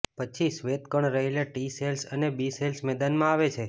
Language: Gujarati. પછી શ્વેતકણમાં રહેલા ટી સેલ્સ અને બી સેલ્સ મેદાનમાં આવે છે